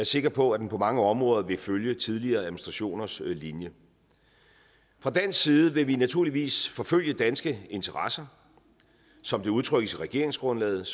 sikker på at den på mange områder vil følge tidligere administrationers linje fra dansk side vil vi naturligvis forfølge danske interesser som det udtrykkes i regeringsgrundlaget